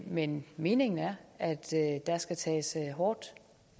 men meningen er at der skal tages hårdt